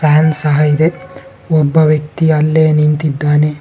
Fan ಸಹ ಇದೆ ಒಬ್ಬ ವ್ಯಕ್ತಿ ಅಲ್ಲೇ ನಿಂತಿದ್ದಾನೆ.